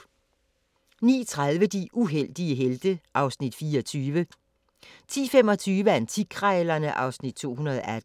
(185:224) 09:30: De uheldige helte (Afs. 24) 10:25: Antikkrejlerne (Afs. 218)